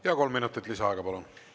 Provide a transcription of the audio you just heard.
Ja kolm minutit lisaaega, palun!